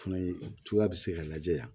Fana ye cogoya bɛ se ka lajɛ yan